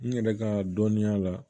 N yɛrɛ ka dɔnniya la